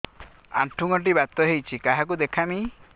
ଆଣ୍ଠୁ ଗଣ୍ଠି ବାତ ହେଇଚି କାହାକୁ ଦେଖାମି